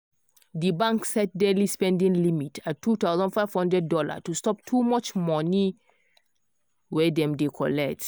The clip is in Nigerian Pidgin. di bank set daily spending limit at $2500 to stop too much money wey dem dey collect